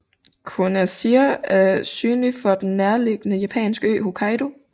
Kunasjir er synlig fra den nærliggende japanske ø Hokkaido